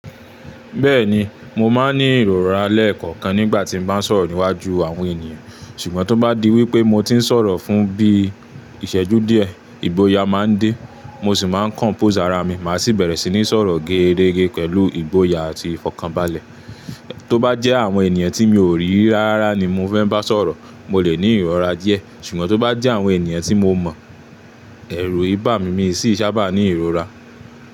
Bẹ́ẹ̀ni, mo máa ń ní ìrora lẹ́ẹ̀kọ̀kan nígbà tí mo bá ń sọ̀rọ̀ níwájú àwọn ènìyàn. Ṣùgbọ́n tó bá di wípé mo ti ń sọ̀rọ̀ fún bí ìṣẹ́jú díẹ̀, ìgboyà máa ń dé, mo sì máa ń compose ara mi, màá sì bẹ̀rẹ̀ sí ní sọ̀rọ̀ géèrégé pẹ̀lú ìgboyà àti ìfọ̀kànbalẹ̀. Tó bá jẹ́ àwọn ènìyàn tí mi ò rí rárá ni mo fẹ́ bá sọ̀rọ̀, mo lè ní ìrora díẹ̀. Ṣùgbọ́n tó bá jẹ́ àwọn ènìyàn tí mo mọ̀, ẹ̀rù ìi bá mi, mi sì sábà ní ìrora.